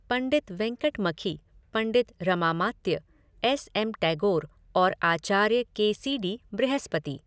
पंडित Venkatamakhi, Pandit Ramamatya, S M Tagore और Acharya K C D Brihaspati.